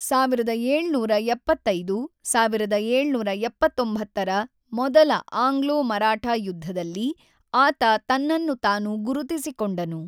೧೭೭೫-೧೭೭೯ರ ಮೊದಲ ಆಂಗ್ಲೋ-ಮರಾಠಾ ಯುದ್ಧದಲ್ಲಿ ಆತ ತನ್ನನ್ನು ತಾನು ಗುರುತಿಸಿಕೊಂಡನು.